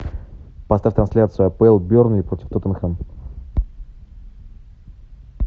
поставь трансляцию апл бернли против тоттенхэм